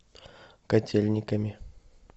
котельниками